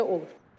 Belə olur.